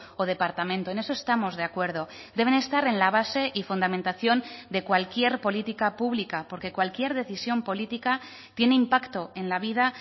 o departamento en eso estamos de acuerdo deben estar en la base y fundamentación de cualquier política pública porque cualquier decisión política tiene impacto en la vida